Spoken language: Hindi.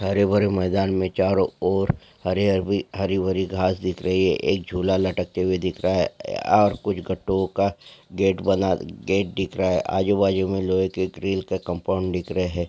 हरे भरे मैदान मैं चारो और हरे हरबी हरी भरी घास दिख रही है एक झूला लटक ते हुए दिख रहा है और कुछ गटोंका गेट बना गेट दिख रहा है आजू बाजू में लोहे के ग्रिल्ल के कंपाउंड दिख रहे है।